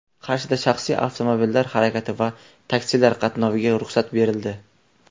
Qarshida shaxsiy avtomobillar harakati va taksilar qatnoviga ruxsat berildi.